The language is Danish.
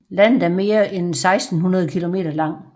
Landet er mere end 1600 kilometer lang